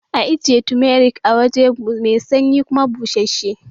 A ajiya tumatir a wuri mai sanyi kuma bussashe